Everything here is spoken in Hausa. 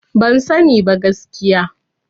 Ban sani ba gaskiya.